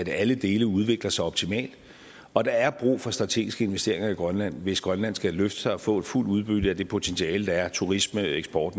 alle dele udvikler sig optimalt og der er brug for strategiske investeringer i grønland hvis grønland skal løfte sig og få fuldt udbytte af det potentiale der er med turisme og eksport